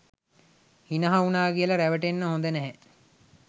හිනහා වුනා කියලා රැවටෙන්න හොඳ නැහැ.